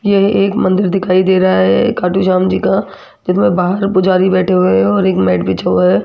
यह एक मंदिर दिखाई दे रहा है खाटू श्याम जी का जिसमें बाहर पुजारी बैठे हुए हैं और एक मैट बिछा हुआ है।